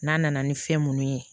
N'a nana ni fɛn munnu ye